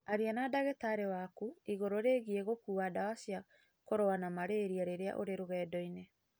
Aria na ndagĩtarĩ waku igũrũ rĩgiĩ gũkuua ndawa cia kũrũa na malaria rĩrĩa ũrĩ rũgendo-inĩ.